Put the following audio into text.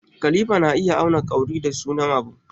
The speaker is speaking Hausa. Kalifa na iya auna kauri da nisan abu.